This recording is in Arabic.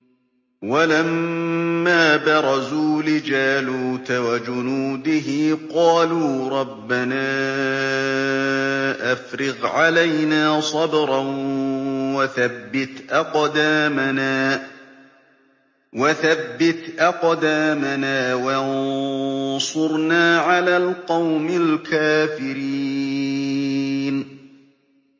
وَلَمَّا بَرَزُوا لِجَالُوتَ وَجُنُودِهِ قَالُوا رَبَّنَا أَفْرِغْ عَلَيْنَا صَبْرًا وَثَبِّتْ أَقْدَامَنَا وَانصُرْنَا عَلَى الْقَوْمِ الْكَافِرِينَ